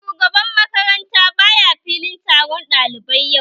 Shugaban makaranta baya filin taron ɗalibai yau